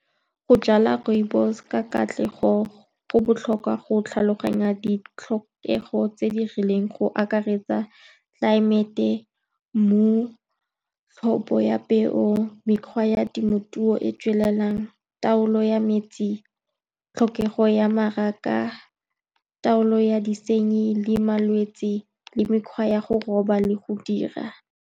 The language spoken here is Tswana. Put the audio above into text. Go jala rooibos-e ka katlego, go botlhokwa go tlhaloganya ditlhokego tse di rileng, go akaretsa, tlelaemete, mmu, tlhopho ya peo, mekgwa ya temothuo e e tswelelang, taolo ya metsi, tlhokego ya mmaraka, taolo ya disenyi le malwetse, le mekgwa ya go roba le go dira.